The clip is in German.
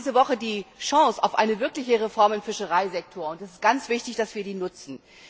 Wir haben diese Woche die Chance auf eine wirkliche Reform im Fischereisektor, und es ist ganz wichtig, dass wir sie nutzen.